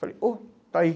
Falei, oh, está aí.